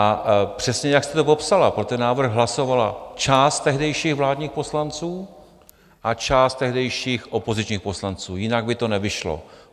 A přesně jak jste to popsala, pro ten návrh hlasovala část tehdejších vládních poslanců a část tehdejších opozičních poslanců, jinak by to nevyšlo.